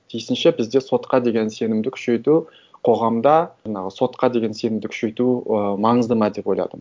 тиісінше бізде сотқа деген сенімді күшейту қоғамда жаңағы сотқа деген сенімді күшейту ы маңызды ма деп ойладым